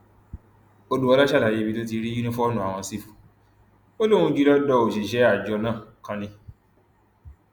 òdúọlá ṣàlàyé ibi tó ti rí yunifóònù ààwọn sífù ó lóun jí i lọdọ òṣìṣẹ àjọ náà kan ni